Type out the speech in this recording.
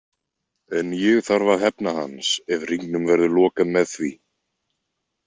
En ég þarf að hefna hans ef hringnum verður lokað með því.